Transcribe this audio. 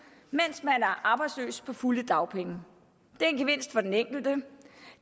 mens man er arbejdsløs på fulde dagpenge det er en gevinst for den enkelte